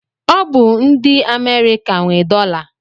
Ọ bụ ndị Amerịka nwe dọla.